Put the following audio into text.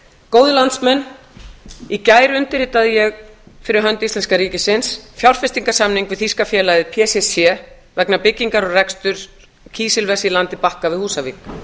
góðir landsmenn í gær undirritaði ég fyrir hönd íslenska ríkisins fjárfestingarsamning við þýska félagið pcc vegna byggingar og reksturs kísilvers í landi bakka við húsavík